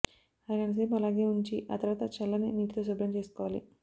అరగంట సేపు అలాగే ఉంచి ఆ తర్వాత చల్లని నీటితో శుభ్రం చేసుకోవాలి